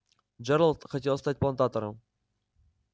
джералд хотел стать плантатором